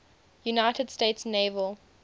united states naval